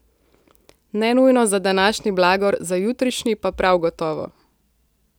Ne nujno za današnji blagor, za jutrišnji pa prav gotovo.